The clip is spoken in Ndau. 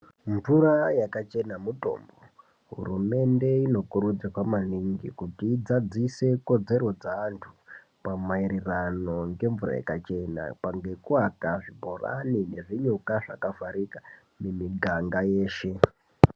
Mvura yakachena mutombo hurumende ino kuridzirwa maningi kuti i dzadzise kodzero dze antu pama ererano nge mvura yakachena ngeku aka zvibhorani ngezvi nyuka zvakavharika mu miganga yeshe.